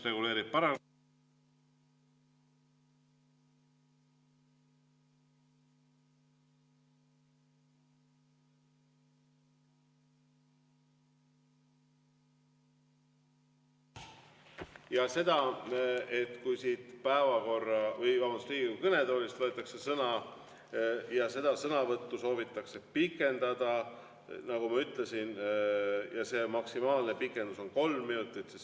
Ja kui siit Riigikogu kõnetoolist võetakse sõna ja seda sõnavõttu soovitakse pikendada, siis nagu ma ütlesin, maksimaalne pikendus on kolm minutit.